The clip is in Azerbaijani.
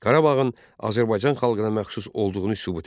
Qarabağın Azərbaycan xalqına məxsus olduğunu sübut edir.